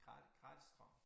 Gratis gratis strøm